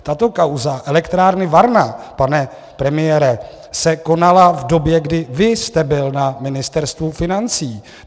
Tato kauza elektrárny Varna, pane premiére, se konala v době, kdy vy jste byl na Ministerstvu financí.